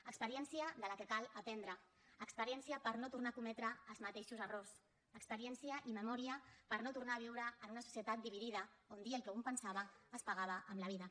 experiència de la qual cal aprendre experiència per no tornar a cometre els mateixos errors experiència i memòria per no tornar a viure en una societat dividida on dir el que un pensava es pagava amb la vida